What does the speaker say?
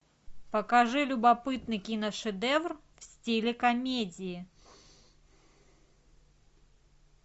покажи любопытный киношедевр в стиле комедии